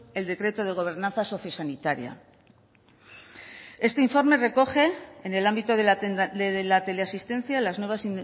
el decreto de gobernanza sociosanitaria este informe recoge en el ámbito de la teleasistencia las nuevas